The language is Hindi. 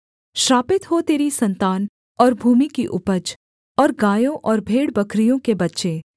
श्रापित हो तेरी सन्तान और भूमि की उपज और गायों और भेड़बकरियों के बच्चे